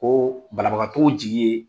Koo banabagatɔw jigi ye